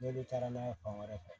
N'olu taara n'a ye fan wɛrɛ fɛ